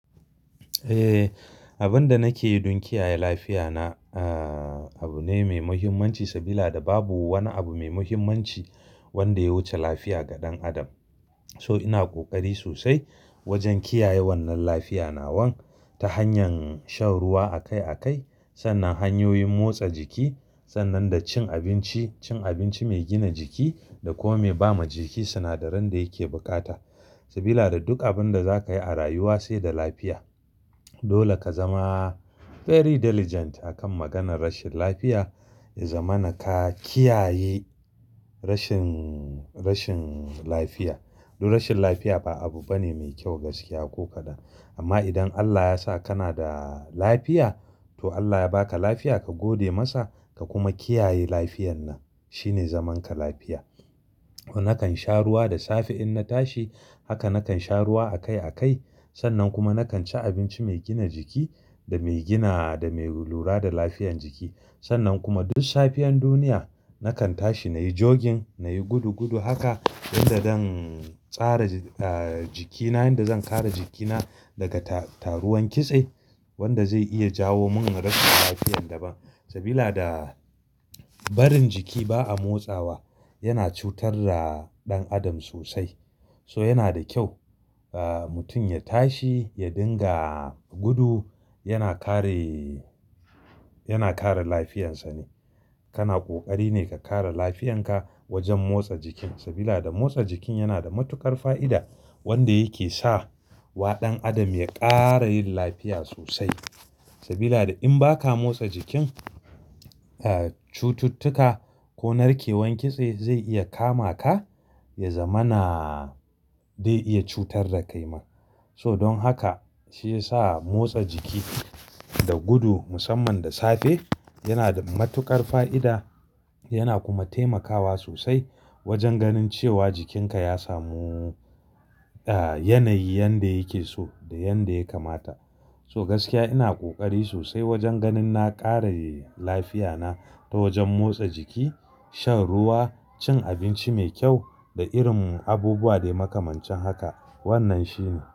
Eh, abin da nake yi don kiyaye lafiya na, ah, abu ne mai muhimmanci, sabila da babu wani abu mai muhimmanci wanda ya wuce lafiya ga ɗan adam. So ina ƙoƙari sosai wajen kiyaye wannan lafiya nawan ta hanyar shan ruwa akai akai, sannan hanyoyin motsa jiki, sannan da cin abinci, cin abinci mai gina jiki da kuma mai ba ma jiki sinadaran da yake bukata. Sabila da duk abin da za ka yi a rayuwa sai da lafiya. Dole ka zama very diligent akan maganar rashin lafiya, ya zamana ka kiyaye rashin, rashin lafiya. Duk rashin lafiya ba abu bane mai kyau gaskiya ko kaɗan. Amma idan Allah ya sa kana da lafiya to Allah ya ba ka lafiya, ka gode masa, ka kuma kiyaye lafiyan nan. Shi ne zaman ka lafiya. Nakan sha ruwa da safe in na tashi, haka nakan sha ruwa akai akai. Sannan kuma nakan ci abinci mai gina jiki da mai gina da mai lura da lafiyan jiki. Sannan kuma duk safiyan duniya nakan tashi na yi jogging, na yi gudu gudu haka don da dan tsara, ah, jikina, yanda zan kare jikina daga taruwan kitse wanda zai iya jawo mun rashin lafiyan daban. Sabida barin jiki ba a motsawa yana cutar da ɗan adam sosai. So yana da kyau, ah, mutum ya tashi, ya dinga gudu, yana kare, yana kare lafiyansa ne. Kana ƙoƙari ne ka kare lafiyan ka wajen motsa jikin. Sabila da motsa jikin yana da matuƙar fa'ida wanda yake sa wa ɗan adam ya ƙara yin lafiya sosai. Sabila da in ba ka motsa jikin, ah, cututtuka ko narkewan kitse zai iya kama ka, ya zama na, zai iya cutar da kai ma. So don haka shi ya sa motsa jiki da gudu musamman da safe yana da matuƙar fa'ida. Yana kuma taimakawa sosai wajen ganin cewa jikinka ya samu, ah, yanayi yanda yake so da yanda ya kamata. So gaskiya ina ƙoƙari sosai wajen ganin na ƙare lafiya na ta wajen motsa jiki, shan ruwa, cin abinci mai kyau da irin abubuwa dai makamancin haka. Wannan shine.